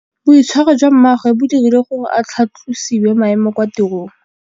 Boitshwarô jwa mmagwe bo dirile gore a tlhatlosiwe maêmo kwa tirông.